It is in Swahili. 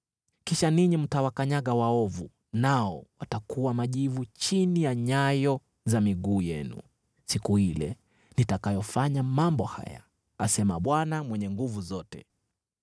Kisha ninyi mtawakanyaga waovu, nao watakuwa majivu chini ya nyayo za miguu yenu siku ile nitakayofanya mambo haya,” asema Bwana Mwenye Nguvu Zote.